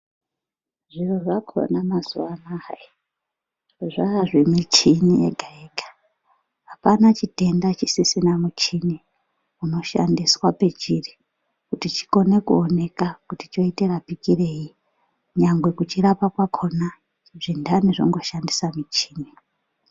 Zviro zvakhona mazuwa anaa hayi, zvaazvemichini yega -yega. Apana chitenda chisisina muchini unoshandiswa pechiri kuti chikonr kuonekwa kuti choite rapikirwei ,nyangwe kuchirapa kwakhona, zvintani zvongoshandisa michini.